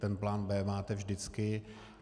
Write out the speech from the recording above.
Ten plán B máte vždycky.